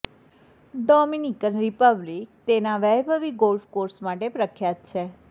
Dominican Republic તેના વૈભવી golf course માટે પ્રખ્યાત છે